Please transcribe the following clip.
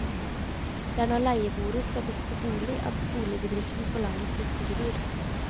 Det er når leieboere skal bytte bolig at boligbedriften forlanger flyttegebyr.